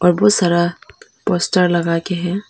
बहुत सारा पोस्टर लगा के है।